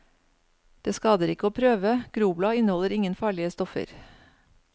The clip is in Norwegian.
Det skader ikke å prøve, groblad inneholder ingen farlige stoffer.